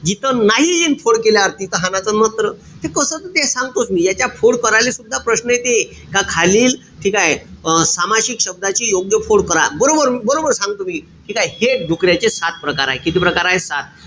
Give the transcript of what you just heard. जिथं नाही यिन फोड केल्यावर तिथं हाणाच नत्र. त कस येत ते सांगतोच मी. याच्या फोड करायला सुद्धा प्रश्न येते. का खालील ठीकेय? आ सामासीक शब्दाची योग्य फोड करा. बरोबर बरोबर सांगतो मी. ठीकेय? हे डुकऱ्याचे सात प्रकार हाये. किती प्रकार हाये? सात.